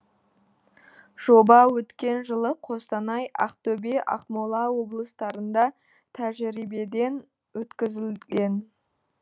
жоба өткен жылы қостанай ақтөбе ақмола облыстарында тәжірибеден өткізілген